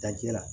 Dajɛ la